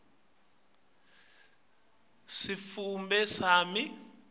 kuso sitfombe sami